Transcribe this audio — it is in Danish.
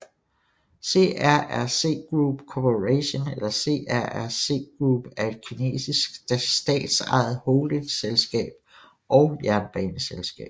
CRRC Group Corporation eller CRRC Group er et kinesisk statsejet holdingselskab og jernbaneselskab